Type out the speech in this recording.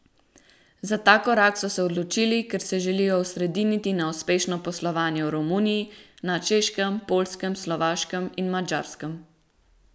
Za ta korak so se odločili, ker se želijo osrediniti na uspešno poslovanje v Romuniji, na Češkem, Poljskem, Slovaškem in Madžarskem.